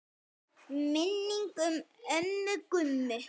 Minning um ömmu Gummu.